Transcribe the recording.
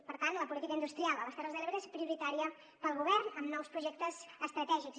per tant la política industrial a les terres de l’ebre és prioritària per al govern amb nous projectes estratègics